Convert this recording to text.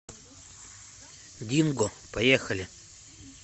динго поехали